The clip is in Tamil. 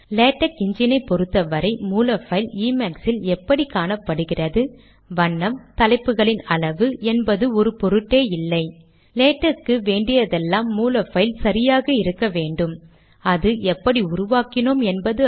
நான் மேக் இல் கடிதம் வரைதல் பற்றி பேசி இருந்தாலும் இதே ஸோர்ஸ் பைல் லினக்ஸ் மற்றும் விண்டோஸ் இயக்கு முறையில் நிறுவிய எல்லா லேடக் பதிப்புகளிலும் செயல்படும்